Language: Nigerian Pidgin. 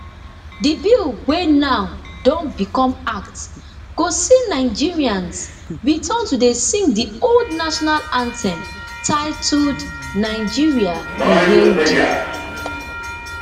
di bill wey now don become act go see nigerians return to dey sing di old national anthem titled nigeria we hail thee